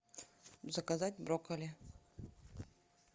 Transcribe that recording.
заказать брокколи